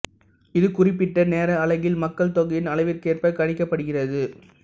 இது குறிப்பிட்ட நேர அலகில் மக்கள் தொகையின் அளவிற்கேற்ப கணிக்கப்படுகிறது